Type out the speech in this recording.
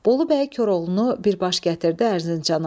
Bolu bəy Koroğlunu birbaş gətirdi Ərzincana.